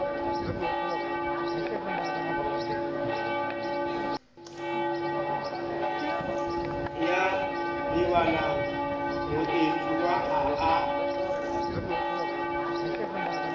ya lebalang moetsuwa ha a